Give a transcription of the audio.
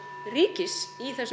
ríkis í þessum